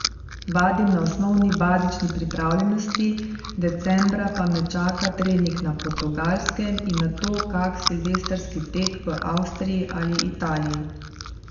Vadim na osnovni bazični pripravljenosti, decembra pa me čaka trening na Portugalskem in nato kak silvestrski tek v Avstriji ali Italiji.